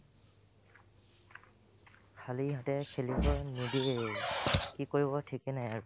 খালী হাতেৰে খেলিবই নিদিয়ে কি কৰিব থিক নাই আৰু